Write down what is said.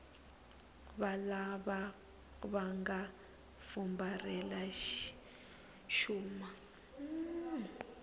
valava va nga fumbarhela xuma